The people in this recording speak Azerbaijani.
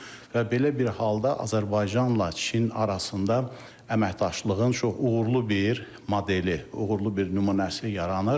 Və belə bir halda Azərbaycanla Çin arasında əməkdaşlığın çox uğurlu bir modeli, uğurlu bir nümunəsi yaranır.